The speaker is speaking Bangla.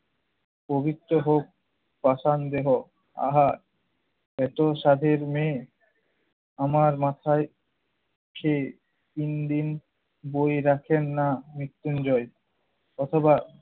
পবিত্রে হোক পাষান দেহ। আহা! এতো সাধের মেয়ে আমার মাথায় খেয়ে তিন দিন বই রাখেন না মৃত্যুঞ্জয়। অথবা